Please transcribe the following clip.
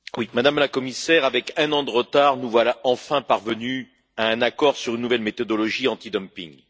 Madame la Présidente, Madame la Commissaire, avec un an de retard, nous voilà enfin parvenus à un accord sur une nouvelle méthodologie anti dumping.